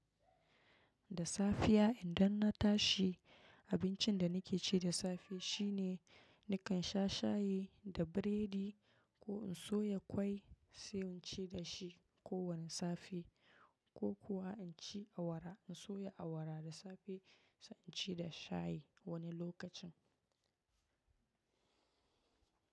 Da safiya idan na tashi, abincin da nake ci da safe shine nakan sha shayi da biredi ko in soya ƙwai sai in ci da shi ko wani safe, ko kuwa in ci awara. In soya awara da safe sai in ci da shayi wani lokacin.